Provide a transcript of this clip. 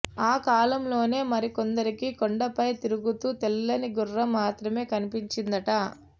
ఆ కాలంలోనే మరికొందరికి కొండపై తిరుగుతూ తెల్లని గుర్రం మాత్రమే కనిపించిందట